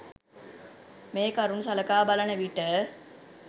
මේ කරුණු සලකා බලන විට